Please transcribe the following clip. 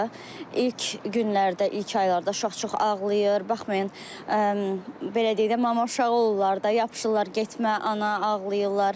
İlk günlərdə, ilk aylarda uşaq çox ağlayır, baxmayaraq belə deyək də, mama uşağı olurlar da, yapışırlar getmə, ana, ağlayırlar.